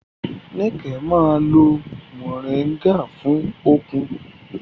Níkẹ̀ máa ń lo Mọ̀ríngà fún okun